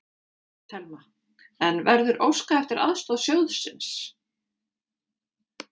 Telma: En verður óskað eftir aðstoð sjóðsins?